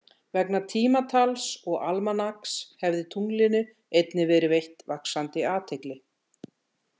Vegna tímatals og almanaks hefði tunglinu einnig verið veitt vaxandi athygli.